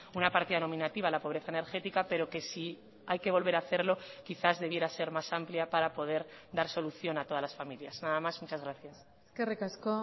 una partida nominativa a la pobreza energética pero que si hay que volver a hacerlo quizás debiera ser más amplia para poder dar solución a todas las familias nada más muchas gracias eskerrik asko